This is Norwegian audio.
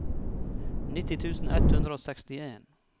nitti tusen ett hundre og sekstien